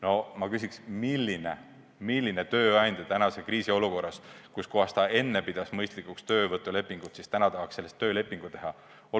No ma küsin, milline tööandja, kes enne pidas mõistlikuks töövõtulepingut, tahaks praeguses kriisis sellest töölepingu teha.